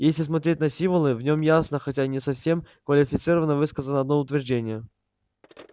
если смотреть на символы в нем ясно хотя и не совсем квалифицированно высказано одно утверждение